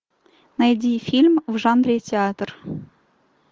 найди фильм в жанре театр